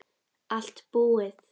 Allt búið